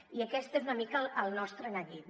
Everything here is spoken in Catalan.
i aquest és una mica el nostre neguit